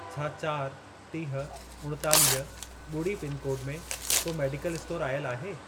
छा चारि, टीह, उणेतालीह, ॿुड़ी पिनकोड में को मेडिकल स्टोर आयल आहे?